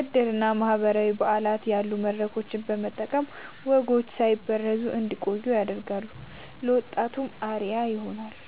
ዕድርና ማህበራዊ በዓላት ያሉ መድረኮችን በመጠቀም ወጎች ሳይበረዙ እንዲቆዩ ያደርጋሉ፤ ለወጣቱም አርአያ ይሆናሉ።